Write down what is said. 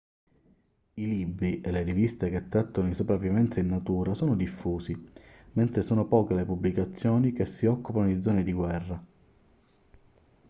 i libri e le riviste che trattano di sopravvivenza in natura sono diffusi mentre sono poche le pubblicazioni che si occupano di zone di guerra